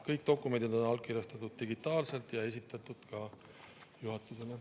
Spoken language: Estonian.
Kõik dokumendid on allkirjastatud digitaalselt ja esitatud juhatusele.